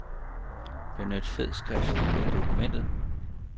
Benyt fed skrift i dokumentet.